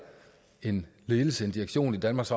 en ledelse en direktion i danmarks